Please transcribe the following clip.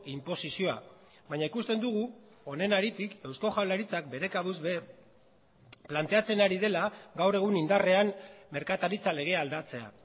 inposizioa baina ikusten dugu honen haritik eusko jaurlaritzak bere kabuz ere planteatzen ari dela gaur egun indarrean merkataritza legea aldatzea